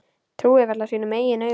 Trúir varla sínum eigin augum.